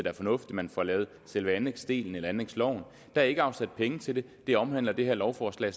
er fornuftigt at man får lavet selve anlægsdelen eller anlægsloven der er ikke afsat penge til det det omhandler det her lovforslag